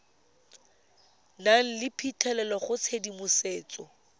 nang le phitlhelelo go tshedimosetso